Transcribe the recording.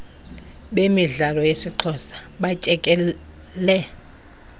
bemidlalo yesixhosa batyekele